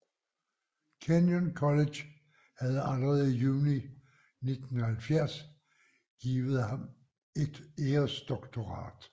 Kenyon College havde allerede i juni 1970 givet ham et æresdoktorat